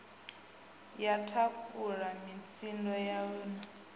ya thakhula mutsindo wayo u